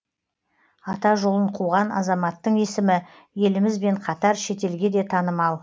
ата жолын қуған азаматтың есімі елімізбен қатар шетелге де танымал